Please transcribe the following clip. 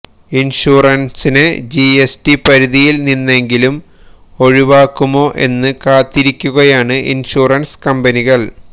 ഇൻഷുറൻസിനെ GST പരിധിയിൽ നിന്നെങ്കിലും ഒഴിവാക്കുമോ എന്ന് കാത്തിരിക്കുകയാണ് ഇൻഷുറൻസ് കമ്പനികൾ